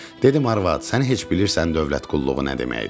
Dedim arvad, sən heç bilirsən dövlət qulluğu nə deməkdir?